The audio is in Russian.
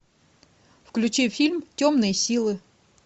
включи фильм темные силы